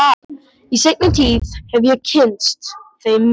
Í seinni tíð hef ég kynnst þeim meira.